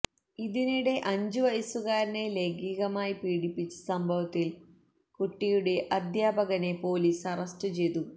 ഇതിനിടെ അഞ്ചു വയസുകാരനെ ലൈംഗികമായി പീഡിപ്പിച്ച സംഭവത്തില് കുട്ടിയുടെ അധ്യാപകനെ പോലീസ് അറസ്റ്റ് ചെയ്തു